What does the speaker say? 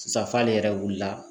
Sisan fali yɛrɛ wulila